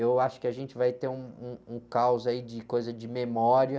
Eu acho que a gente vai ter um, um, um caos aí de coisa de memória.